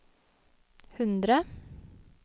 hundre